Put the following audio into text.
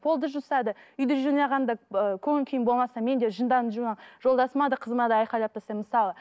полды жуса да үйді жинағанда ыыы көңіл күйің болмаса мен де жынданып жолдасыма да қызыма айғайлап тастаймын мысалы